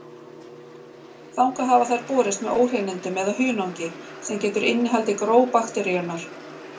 Þangað hafa þær borist með óhreinindum eða hunangi, sem getur innihaldið gró bakteríunnar.